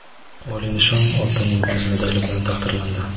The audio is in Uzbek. oliy nishon – "Oltin yulduz" medali bilan taqdirlandi.